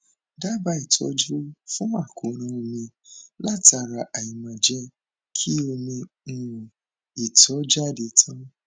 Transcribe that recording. dábàá ìtọjú fún àkóràn omi látara aìmáa jẹ kí omi um ìtọ jáde tán